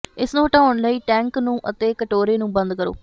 ਇਸ ਨੂੰ ਹਟਾਉਣ ਲਈ ਟੈਂਕ ਨੂੰ ਅਤੇ ਕਟੋਰੇ ਨੂੰ ਬੰਦ ਕਰੋ